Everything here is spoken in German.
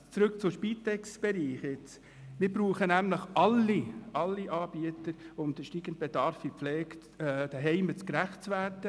Zurück zum Spitex-Bereich: Wir brauchen nämlich alle Anbieter, und dem steigenden Bedarf haben wir gerecht zu werden.